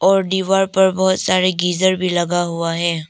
और दीवार पर बहुत सारे गीजर भी लगा हुआ है।